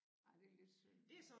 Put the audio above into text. Ej det lidt synd